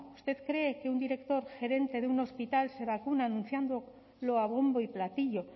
usted cree que un director gerente de un hospital se vacuna anunciándolo a bombo y platillo